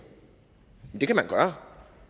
det kan man gøre